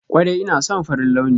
Kwarai ina son farin launi.